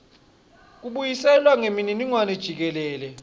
kubuyiselwa kwemininingwane jikelele